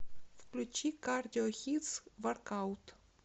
включи кардио хитс воркаут